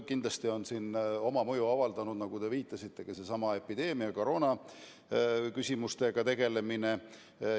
Kindlasti on sellele mõju avaldanud, nagu te viitasite, ka seesama epideemia, koroonaküsimustega tegelemine.